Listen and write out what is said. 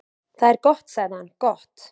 """Það er gott sagði hann, gott"""